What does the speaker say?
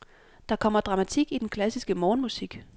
Der kommer dramatik i den klassiske morgenmusik.